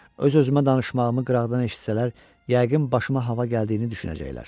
Öz-özümə danışmağımı qıraqdan eşitsələr yəqin başıma hava gəldiyini düşünəcəklər.